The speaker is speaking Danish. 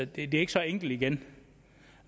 det er ikke så enkelt igen